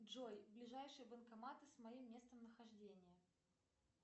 джой ближайшие банкоматы с моим местонахождением